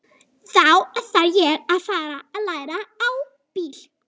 Þá þarf ég að fara að læra á bíl.